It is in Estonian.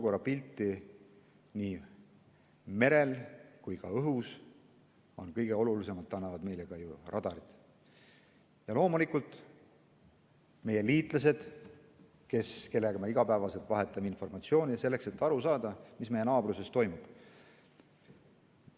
Kõige olulisemat annavad meile radarid, aga loomulikult ka meie liitlased, kellega me igapäevaselt vahetame informatsiooni selleks, et aru saada, mis meie naabruses toimub.